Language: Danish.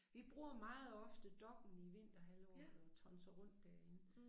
Vi bruger meget ofte Dokk1 i vinterhalvåret og tonser rundt derinde